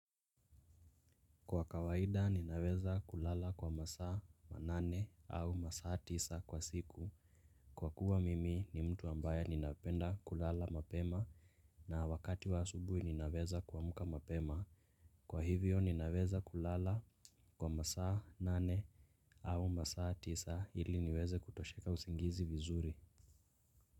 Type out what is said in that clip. Kwa kawaida ninaweza kulala kwa masaa manane au masaa tisa kwa siku. Kwa kuwa mimi ni mtu ambaye ninaapenda kulala mapema. Na wakati wa asubuhi ninaweza kuamuka mapema. Kwa hivyo ninaweza kulala kwa masaa nane au masaa tisa ili niweze kutosheka usingizi vizuri.